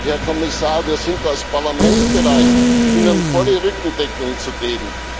Herr Kommissar, wir sind als Parlament bereit, Ihnen volle Rückendeckung zu geben.